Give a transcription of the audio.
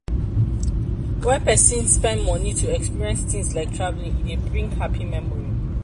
when person spend money to experience things like travelling e dey bring happy memory